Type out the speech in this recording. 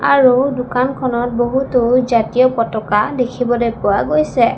আৰু দোকানখনত বহুতো জাতীয় পতাকা দেখিবলৈ পোৱা গৈছে।